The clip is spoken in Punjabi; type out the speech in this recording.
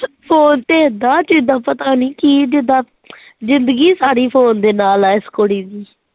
phone ਤਾਂ ਇੱਦਾ ਜਿੱਦਾ ਪਤਾ ਨੀ ਕੀ ਜਿੱਦਾ ਜਿੰਦਗੀ ਸਾਰੀ phone ਨਾਲ ਇਸ ਕੁੜੀ ਦੀ।